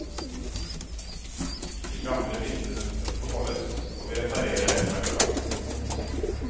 De gamle vinduene beholdes, og vi reparerer det som er ødelagt.